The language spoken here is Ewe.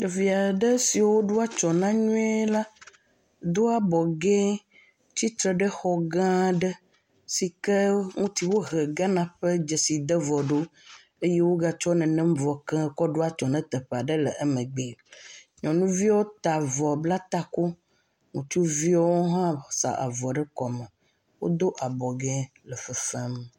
Ɖevi aɖe si woɖo atsyɔ̃ na nyui la, do abɔ ge, tsitre ɖe xɔ gã aɖe si ke ŋuti wohe Ghana ƒe dzeside vɔ eye wogatsɔ nenem vɔ ke kɔ ɖo atsyɔ̃ na teƒe aɖe le emegbea, nyɔnuviwo ta avɔ bla take eye ŋutsuviwo hã sa avɔ ɖe kɔme eye wodo abɔ ge le fefe fem.